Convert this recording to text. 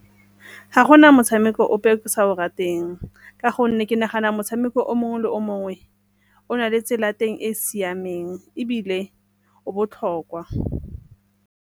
Ga gona motshameko ope o ke sa o rateng ka gonne ke nagana motshameko o mongwe le o mongwe o na le tsela ya teng e e siameng ebile o botlhokwa.